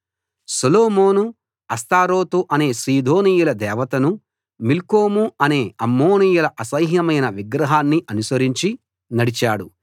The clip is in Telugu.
సొలొమోను అష్తారోతు అనే సీదోనీయుల దేవతను మిల్కోము అనే అమ్మోనీయుల అసహ్యమైన విగ్రహాన్నీ అనుసరించి నడిచాడు